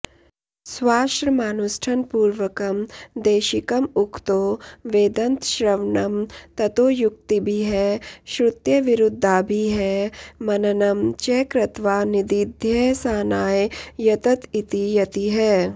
स्वाश्रमानुष्ठनपूर्वकं देशिकंउखतो वेदन्तश्रवणं ततो युक्तिभिः श्रुत्यविरुद्धाभिः मननं च कृत्वा निदिध्यसानाय यतत इति यतिः